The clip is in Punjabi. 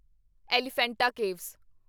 ਐਲੀਫੈਂਟਾ ਕੇਵਸ